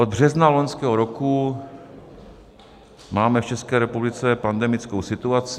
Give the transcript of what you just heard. Od března loňského roku máme v České republice pandemickou situaci.